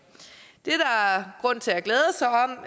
det